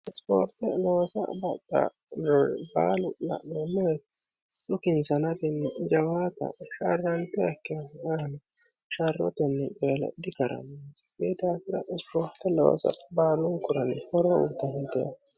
ispoorte loosa baxxari baalu la'neemo woye dhukinssa nafunni jawaataho sharrantuha akkiro nafa sharrotenni ayiino dikarannonsa koye daafira ispoorte loosa baaluunkuranni horro uuyiitannote yaate